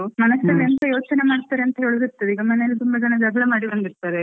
ಮನಸಲ್ಲಿ ಎಂತ ಯೋಚನೆ ಮಾಡ್ತಾರೆ ಅಂತೇಳುದು ಗೊತ್ತಿಲ್ಲ, ಈಗ ಮನೆ ಅಲ್ಲಿ ತುಂಬ ಜನ ಜಗ್ಲ ಮಾಡಿ ಬಂದಿರ್ತಾರೆ.